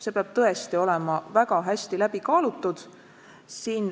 See peab tõesti olema väga hästi läbi kaalutud.